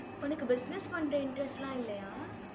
உனக்கு business பண்ற interest எல்லாம் இல்லையா?